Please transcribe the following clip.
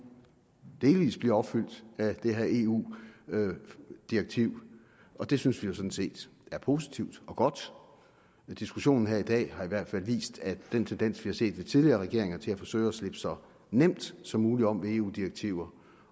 delvis bliver opfyldt af det her eu direktiv og det synes vi jo sådan set er positivt og godt men diskussionen her i dag har i hvert fald vist at den tendens vi har set i tidligere regeringer til at forsøge at slippe så nemt som muligt om ved eu direktiver